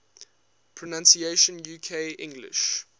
pronunciations uk english